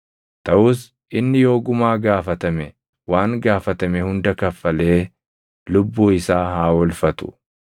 Taʼus inni yoo gumaa gaafatame waan gaafatame hunda kaffalee lubbuu isaa haa oolfatu.